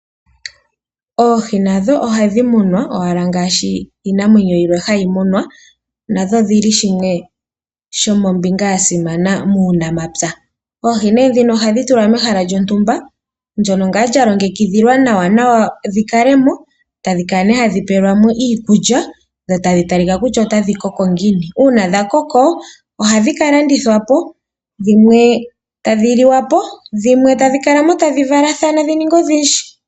Oohi nadho ohadhi munwa owala ngaashi iinamwenyo yilwe hayi munwa. Nadho odhi li shimwe shomombinga ya simana muunamapya. Oohi nee ndhino ohadhi tulwa mehala lyontumba ndyono ngaa lya longekidhilwa nawanawa dhi kale mo, tadhi kala nee hadhi pelwa mo iikulya, dho tadhi talika kutya otadhi koko ngiini. Uuna dha koko ohadhi ka landithwa po, dhimwe tadhi liwa po ,dhimwe tadhi kala mo tadhi valathana dhi ninge odhindji.